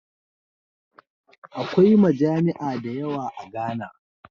Akwai majami'a dayawa a Ghana